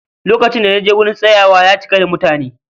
Lokacin da naje wurin tsayawa, ya cika da mutani